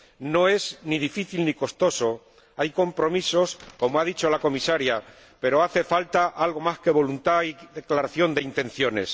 No es ni difícil ni costoso. Hay compromisos, como ha dicho la Comisaria, pero hace falta algo más que voluntad y declaraciones de intenciones.